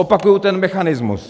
Opakuji ten mechanismus.